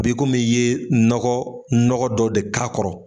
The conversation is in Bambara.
Bi kumi i ye nɔgɔ dɔ de k'a kɔrɔ.